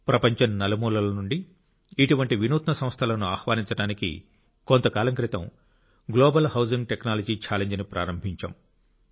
ప్రపంచం నలుమూలల నుండి ఇటువంటి వినూత్న సంస్థలను ఆహ్వానించడానికి కొంతకాలం క్రితం గ్లోబల్ హౌజింగ్ టెక్నాలజీ ఛాలెంజ్ను ప్రారంభించాం